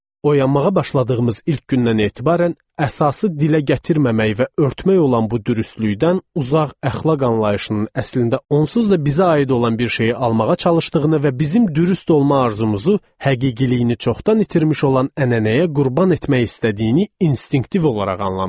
Oyanmağa başladığımız ilk gündən etibarən əsasi dilə gətirməməyi və örtmək olan bu dürüstlükdən uzaq əxlaq anlayışının əslində onsuz da bizə aid olan bir şeyi almağa çalışdığını və bizim dürüst olma arzımızı həqiqiliyini çoxdan itirmiş olan ənənəyə qurban etmək istədiyini instinktiv olaraq anlamışdıq.